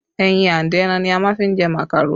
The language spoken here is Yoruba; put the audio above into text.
Ẹyin and ẹran ní a máa fi jẹ màkàró